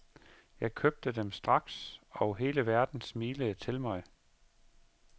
Jeg købte dem straks og hele verden smilede til mig.